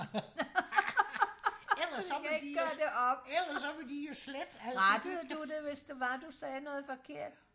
ellers så må de jo ellers så må de jo slette alt det